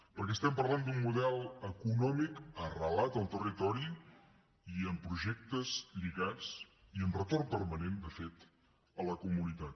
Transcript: perquè estem parlant d’un model econòmic arrelat al territori i amb projectes lligats i amb retorn permanent de fet a la comunitat